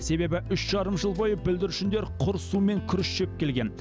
себебі үш жарым жыл бойы бүлдіршіндер құр су мен күріш жеп келген